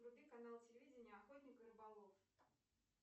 вруби канал телевидения охотник и рыболов